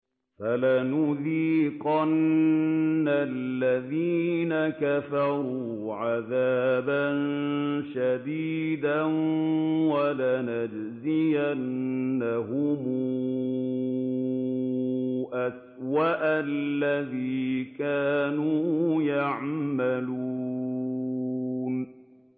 فَلَنُذِيقَنَّ الَّذِينَ كَفَرُوا عَذَابًا شَدِيدًا وَلَنَجْزِيَنَّهُمْ أَسْوَأَ الَّذِي كَانُوا يَعْمَلُونَ